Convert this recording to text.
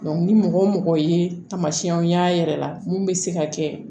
ni mɔgɔ o mɔgɔ ye taamasiyɛnw y'a yɛrɛ la mun bɛ se ka kɛ